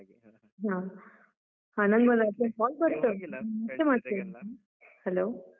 ಹಾ, ಹಾ, ನನ್ಗೊಂದ್ urgent call ಬರ್ತಾ ಉಂಟು. hello .